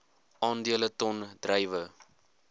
aandele ton druiwe